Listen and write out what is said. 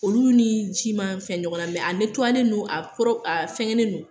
Olu ni ji ma fɛn ɲɔgɔnna mɛ a don a a fɛnkɛnen no